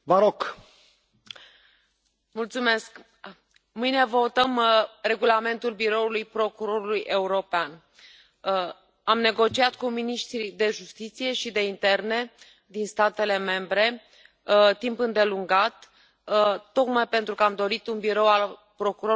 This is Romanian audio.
Domnule președinte, mâine votăm Regulamentul Biroului procurorului european. Am negociat cu miniștrii de justiție și de interne din statele membre timp îndelungat, tocmai pentru că am dorit un birou al procurorului european puternic,